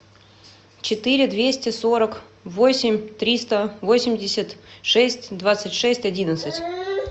четыре двести сорок восемь триста восемьдесят шесть двадцать шесть одиннадцать